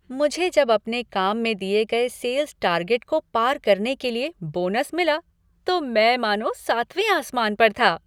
मुझे जब अपने काम में दिये गए सेल्स टार्गेट को पार करने के लिए बोनस मिला तो मैं मानो सातवें आसमान पर था।